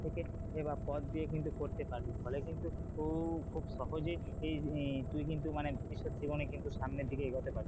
থেকে বা পথ দিয়ে কিন্তু করতে পারবি, ফলে কিন্তু খুব সহজে তুই কিন্তু মানে ভবিষ্যত জীবনে কিনতু সামনের দিকে এগাতে পারবি।